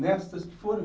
Nestas que foram